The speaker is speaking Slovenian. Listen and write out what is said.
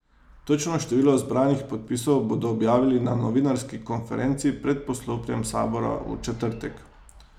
Točno število zbranih podpisov bodo objavili na novinarski konferenci pred poslopjem sabora v četrtek.